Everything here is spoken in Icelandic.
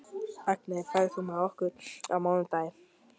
Agni, ferð þú með okkur á mánudaginn?